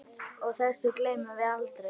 Og þessu gleymum við aldrei.